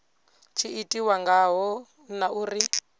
tshi itiwa ngaho na uri